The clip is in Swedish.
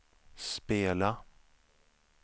spela